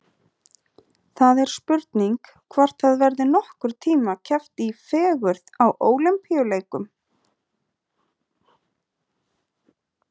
Það er spurning hvort það verði nokkurn tíma keppt í fegurð á Ólympíuleikunum.